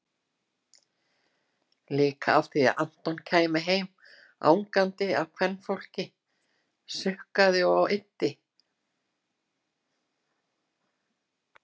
Líka því að Anton kæmi heim angandi af kvenfólki, sukkaði og eyddi-